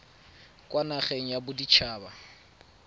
kwa nageng ya bodit haba